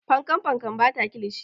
Fankan fankan ba ta kilishi.